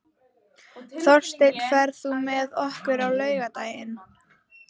Þórsteinn, ferð þú með okkur á laugardaginn?